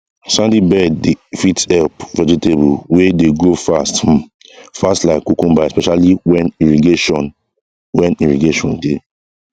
sandy bed dey fit help vegetable wey dey grow fast um fast like cucumber especially when irrigation when irrigation dey